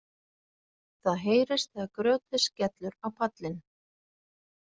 Það heyrist þegar grjótið skellur á pallinn.